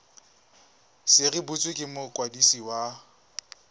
se rebotswe ke mokwadisi wa